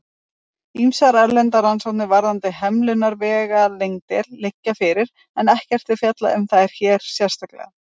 Ýmsar erlendar rannsóknir varðandi hemlunarvegalengdir liggja fyrir, en ekki er fjallað um þær hér sérstaklega.